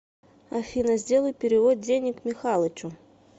афина сделай перевод денег михалычу